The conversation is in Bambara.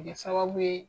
Kɛ sababu ye